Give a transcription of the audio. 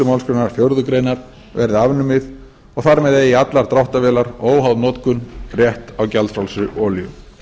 málsgrein fjórðu grein verði afnumið og þar með eigi allar dráttarvélar óháð notkun rétt á gjaldfrjálsri olíu